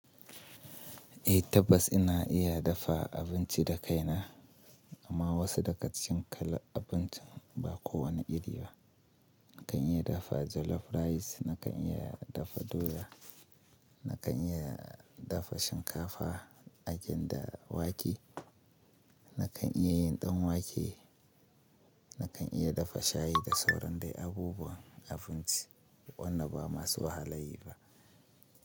Eh tabbas ina iya dafa abinci da kaina amma wasu daga cikin kalar abincin ba kowane iri ba. Nakan iya dafa jollof rice, nakan iya dafa doya, nakan iya dafa shinkafa, akinda wake, nakan iya yin ɗan wake, nakan iya dafa shayi da sauran dai abubuwan abinci. Wanda ba masu wahala yi ba.